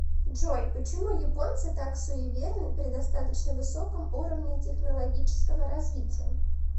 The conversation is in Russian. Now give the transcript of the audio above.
джой почему японцы так суеверны при достаточно высоком уровне технологического развития